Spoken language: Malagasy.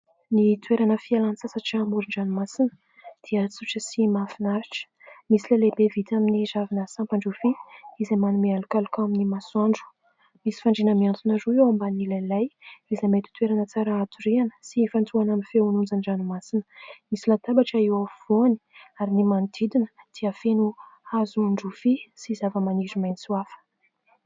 Ny toerana fialan-tsasatra amoron-dranomasina dia tsotra sy mahafinaritra. Misy lay lehibe vita amin'ny ravina sampan-drofia izay manome alokaloka amin'ny masoandro. Misy fandriana mihantona roa eo ambanin'ilay lay izay mety ho toerana tsara hatoriana sy ifantohana amin'ny feon'onjan-dranomasina. Misy latabatra eo afovoany ary ny manodidina dia feno hazon-drofia sy zavamaniry maitso hafa.